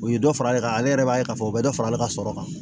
U ye dɔ fara ale kan ale yɛrɛ b'a ye k'a fɔ u bɛ dɔ fara ale ka sɔrɔ kan